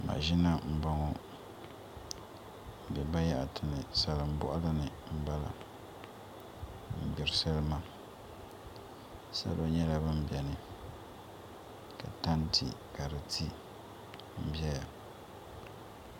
Mashina n boŋo di biɛla bayaɣati ni salin boɣali ni n bala n gbiri salima salima nyɛla din biɛni ka tanti ka di ti n ʒɛya